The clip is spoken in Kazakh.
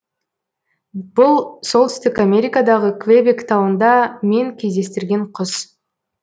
бұл солтүстік америкадағы квебек тауында мен кездестірген құс